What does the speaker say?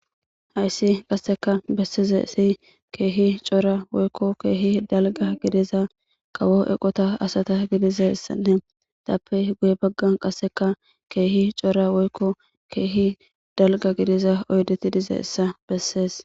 hayssi qasseka bessizesi keehi cora woykko keehi dalga gidiza kawo eqota asata gidizessanne etappe guye bagga qasseka keehi cora woykko keehi dalga gidiza oydetidiza issa bessees